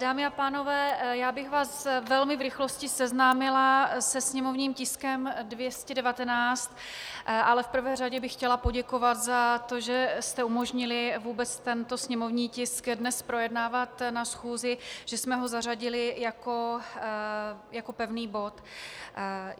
Dámy a pánové, já bych vás velmi v rychlosti seznámila se sněmovním tiskem 219, ale v prvé řadě bych chtěla poděkovat za to, že jste umožnili vůbec tento sněmovní tisk dnes projednávat na schůzi, že jsme ho zařadili jako pevný bod.